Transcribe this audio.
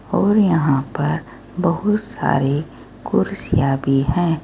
और यहां पर बहुत सारी कुर्सियां भी हैं।